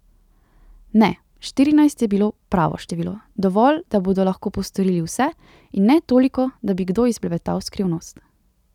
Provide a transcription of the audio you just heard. Ne, štirinajst je bilo pravo število, dovolj, da bodo lahko postorili vse, in ne toliko, da bi kdo izblebetal skrivnost.